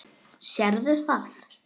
Sérðu það?